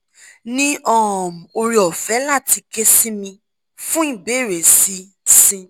ni um ore ofe lati ke si mi fun ibeere si si